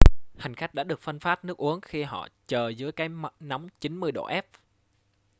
hành khách đã được phân phát nước uống khi họ chờ dưới cái nóng 90 độ f